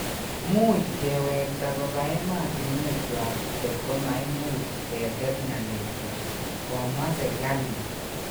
Muuch kewekta kopa emotinwekyuak kot koma imuch ketet ngalekuak komwa serikalit